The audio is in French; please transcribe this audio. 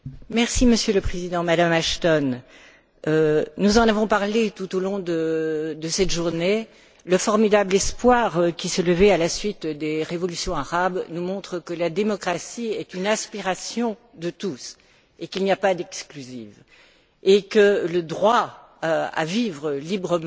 Monsieur le Président, Madame Ashton, nous en avons parlé tout au long de cette journée, le formidable espoir qui s'est levé à la suite des révolutions arabes nous montre que la démocratie est une aspiration de tous et qu'il n'y a pas d'exclusive. Le droit à vivre librement